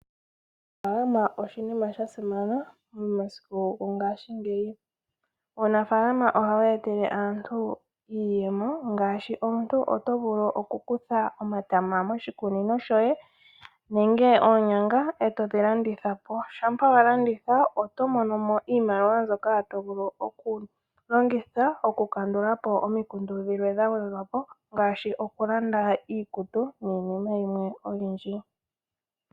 Uunafaalama oshinima sha simana momasiku gongaashingeyi. Uunafaalama ohawu etele aantu iiyemo ngaashi omuntu oto vulu oku kutha omatama moshikunino shoye, nenge oonyanga etodhi landitha po. Shampa wa landitha oto mono mo iimaliwa mbyoka to vulu oku longitha oku kandulapo omikundu dhimwe dha gwedhwa po ngaashi oku landa iikutu niinima yimwe oyindji.